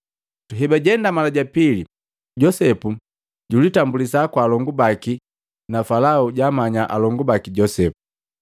Hebajenda mala ja pili, Josepu julitambulisa kwa alongu baki na Falao jaamanya alongu baki Josepu.